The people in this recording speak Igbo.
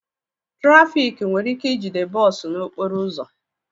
Trafik were ike ijide bọọ su n'okporo uzu